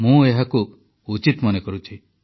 ମୁଁ ଏହାକୁ ଉଚିତ ମନେ କରୁଛି